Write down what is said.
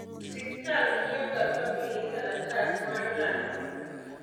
osiptal miyoga famili kalatas mar lando tho